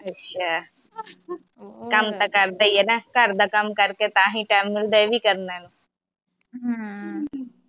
ਅੱਛਾ ਕੰਮ ਤਾ ਕਰਦੇ ਈ ਆ ਨਾ ਘਰਦਾ ਕੰਮ ਕਰਕੇ ਤਾ ਹੀ time ਮਿਲਦਾ ਐਵੀ ਕਰ ਲੈਣ